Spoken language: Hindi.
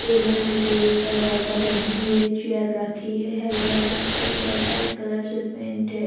टेबल है टेबल पर बोतल लगी हुई है चेयर रखी है हेल्मेट रखा हुआ है व्हाइट कलर से पेंट है।